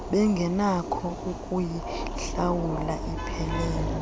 bengenakho ukuyihlawula iphelele